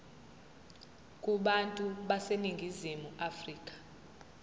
kubantu baseningizimu afrika